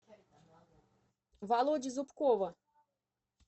володи зубкова